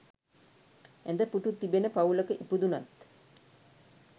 ඇඳ, පුටු තිබෙන පවුලක ඉපදුනත්